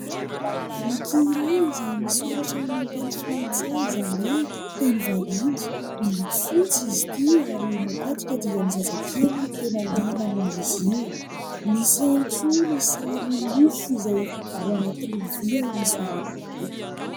Boky iray izay misoratra amin'ny teny frantsy izany hoe teny vahiny. Miloko fotsy izy ity ary matetika dia ny zazakely no liana amin'izy io, misy ihany koa ny sary mofo ao anatina lovia misongadina eto.